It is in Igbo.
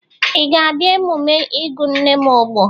Ị ga-abịa emume ịgụ nne m ogbo?